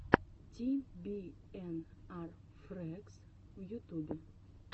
ти би эн ар фрэгс в ютубе